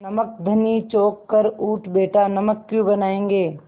नमक धनी चौंक कर उठ बैठा नमक क्यों बनायेंगे